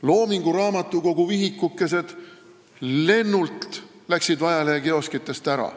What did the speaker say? Loomingu Raamatukogu vihikukesed haarati ajalehekioskitest lennult.